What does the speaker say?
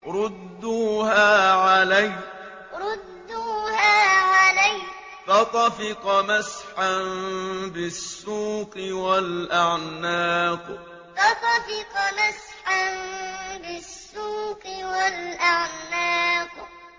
رُدُّوهَا عَلَيَّ ۖ فَطَفِقَ مَسْحًا بِالسُّوقِ وَالْأَعْنَاقِ رُدُّوهَا عَلَيَّ ۖ فَطَفِقَ مَسْحًا بِالسُّوقِ وَالْأَعْنَاقِ